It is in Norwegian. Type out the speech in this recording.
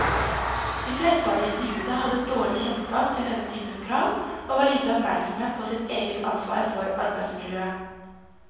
De fleste av de intervjuede hadde dårlig kjennskap til denne typen krav, og var lite oppmerksomme på sitt eget ansvar for arbeidsmiljøet.